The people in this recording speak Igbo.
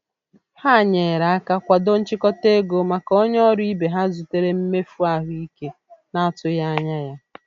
Ha nyere aka kwado nchịkọta ego maka onye ọrụ ibe ha zutere mmefu ahụike n'atụghị anya ya.